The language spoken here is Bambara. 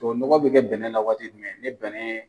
O nɔgɔ be kɛ bɛnɛn na waati jumɛn ni bɛnɛn